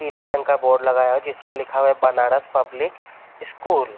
पीले रंग का बोर्ड लगा हुआ है जिसपे लिखा हुआ है। Banaras public school --